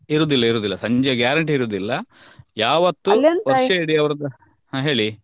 ಇರುದಿಲ್ಲ ಇರುದಿಲ್ಲ ಸಂಜೆ guarantee ಇರುದಿಲ್ಲ ಯಾವತ್ತು ವರ್ಷ ಇಡೀ ಅವರದ್ದು ಹಾ ಹೇಳಿ.